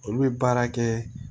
Olu bɛ baara kɛ